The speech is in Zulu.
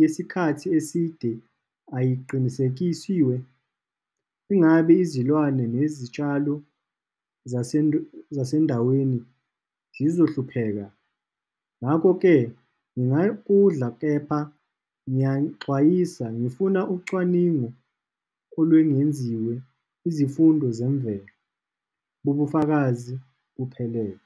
yesikhathi eside ayiqinisekisiwe, ingabi izilwane nezitshalo zasendle zasendaweni zizohlupheka. Ngakho-ke kepha ngiyanixwayisaxolisa, ngifuna ucwaningo olwengenziwe, izifundo zemvelo bobufakazi buphelele.